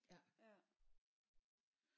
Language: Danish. Ja